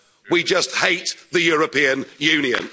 we just hate the European